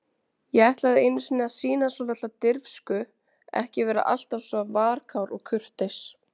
Ég ætlaði einu sinni að sýna svolitla dirfsku, ekki vera alltaf svona varkár og kurteis.